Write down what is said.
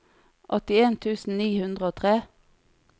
åttien tusen ni hundre og tre